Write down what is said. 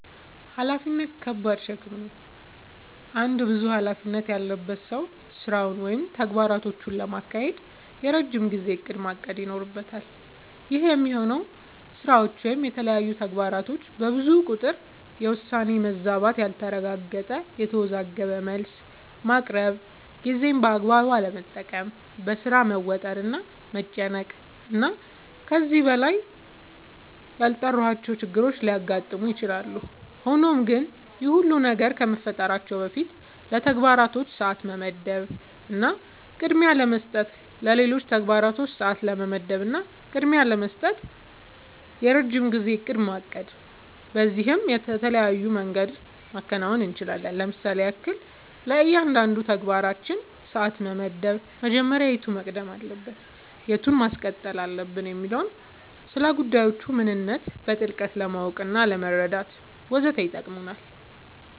ኃላፊነት ከባድ ሸክም ነው። አንድ ብዙ ኃላፊነት ያለበት ሰው ስራውን ወይም ተግባራቶቹን ለማካሄድ የረጅም ጊዜ እቅድ ማቀድ ይኖርበታል። ይህ የሚሆነው ስራዎች ወይም የተለያዩ ተግባራቶች በብዙ ቁጥር የውሳኔ መዛባት ያልተረጋገጠ፣ የተወዘጋገበ መልስ ማቅረብ፣ ጊዜን በአግባቡ አለመጠቀም፣ በሥራ መወጠር እና መጨናነቅ እና ከዚህ በላይ ያልጠራሁዋቸው ችግሮች ሊያጋጥሙ ይችላሉ። ሆኖም ግን ይህ ሁሉ ነገር ከመፈጠራቸው በፊት ለተግባራቶች ሰዓት ለመመደብ እና ቅድሚያ ለመስጠት ለሌሎች ተግባራቶች ሰዓት ለመመደብ እና ቅድሚያ ለመስጠት የረጅም ጊዜ እቅድ ማቀድ በዚህም በተለያየ መንገድ ማከናወን አንችላለኝ ለምሳሌም ያክል፦ ለእያንዳንዱ ተግባራችን ሰዓት መመደብ መጀመሪያ የቱ መቅደም አለበት የቱን ማስቀጠል አለብኝ የሚለውን፣ ስለጉዳዮቹ ምንነት በጥልቀት ለማወቅናለመረዳት ወዘተ ይጠቅመናል።